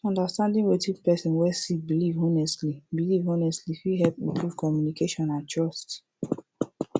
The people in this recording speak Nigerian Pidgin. understanding wetin person wey sik biliv honestly biliv honestly fit hep improve communication and trust